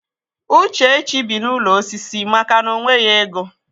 Uchechi bi n'ụlọ osisi maka na o nweghị ego.